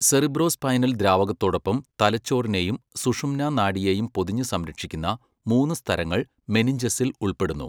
Cerebrospinal ദ്രാവകത്തോടൊപ്പം തലച്ചോറിനെയും സുഷുമ്നാ നാഡിയെയും പൊതിഞ്ഞ് സംരക്ഷിക്കുന്ന മൂന്ന് സ്തരങ്ങൾ മെനിഞ്ചസിൽ ഉൾപ്പെടുന്നു.